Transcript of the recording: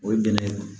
O ye bɛnɛ